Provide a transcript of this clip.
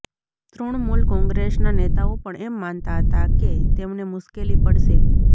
તૃણમુલ કોંગ્રેસના નેતાઓ પણ એમ માનતા હતા કે તેમને મુશ્કેલી પડશે